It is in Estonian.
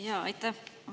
Jaa, aitäh!